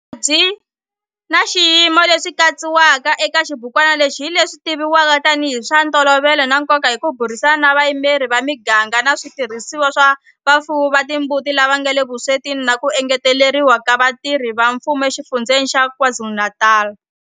Mavabyi na swiyimo leswi katsiwaka eka xibukwana lexi hi leswi tivivwaka tanihi hi swa ntolovelo na nkoka hi ku burisana na vayimeri va miganga na switirhisiwa swa vafuwi va timbuti lava nga le vuswetini na ku engeteriwa ka vatirhi va mfumo eXifundzheni xa KwaZulu-Natal.